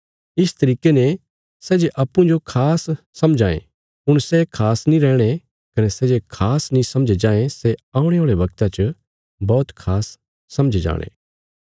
इस तरिके ने सै जे अप्पूँजो खास समझां ये हुण सै खास नीं रैहणे कने सै जे खास नीं समझे जायें सै औणे औल़े वगता च बौहत खास समझे जाणे